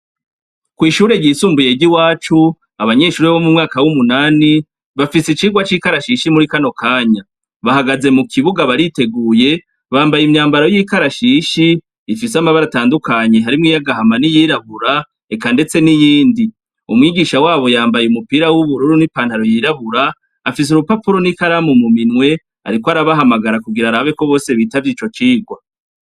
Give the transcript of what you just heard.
Kw'ishure ryisumbuye ry'i wacu abanyeshuri bo mu mwaka w'umunani bafise icirwa c'ikarashishi muri kano kanya bahagaze mu kibuga bariteguye bambaye imyambaro y'ikarashishi ifise amabara atandukanyi harimwo iyagahama n'i yirahura eka, ndetse n'iyindi umwigisha wabo yambaye umupira w'ubururu n'ipantaro yirahura afise urupapuro n'i kalamu muminwe, ariko arabahamagara kugira arabeko bose bitavyo ico cigwa.